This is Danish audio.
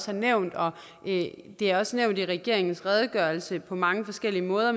har nævnt og det er også nævnt i regeringens redegørelse på mange forskellige måder